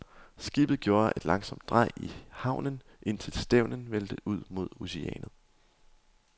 Skibet gjorde et langsomt drej i havnen, indtil stevnen vendte ud mod oceanet.